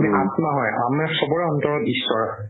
আমি আত্মা হয় আমাৰ চ'বৰে অন্তৰত ঈশ্বৰ